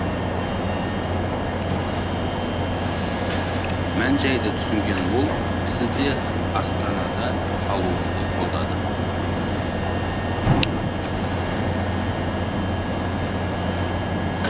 мән жайды түсінген ол кісі де астанада қалуымды қолдады